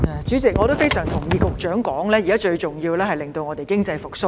主席，我非常同意局長的說法，現在最重要是令本港經濟復蘇。